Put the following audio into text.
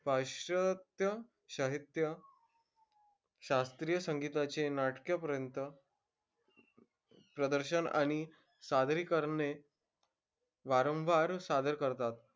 पाश्चात्य साहित्य शास्त्रीय संगीताचे नाटके पर्यंत प्रदर्शन आणि सादरीकरणे वारंवार सादर करतात.